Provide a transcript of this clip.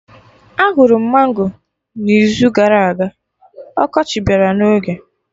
Ahụrụ m mango n'izu gara aga, ọkọchị bịara n'oge